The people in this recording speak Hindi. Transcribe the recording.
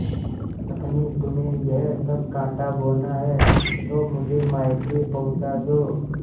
पत्नीतुम्हें यह सब कॉँटा बोना है तो मुझे मायके पहुँचा दो